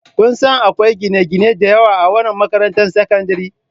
Kun sani akwai gine-gine da yawa a wannan makarantar sakandare?